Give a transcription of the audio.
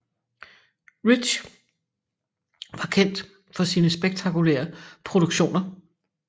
Rich var kendt for sine spektakulære produktioner